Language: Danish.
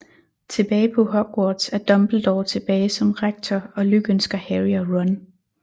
Tilbage på Hogwarts er Dumbledore tilbage som Rektor og lykønsker Harry og Ron